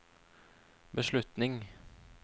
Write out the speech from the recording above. beslutning